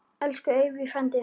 Elsku Eyvi frændi.